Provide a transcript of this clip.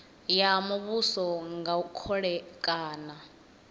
ya muvhuso nga khole kana